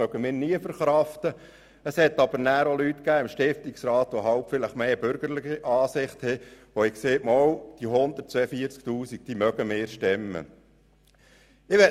Andere, wie die Leute im Stiftungsrat mit einer eher bürgerlichen Ansicht, sind der Meinung, es sei möglich, diese 143 000 Franken zu verkraften.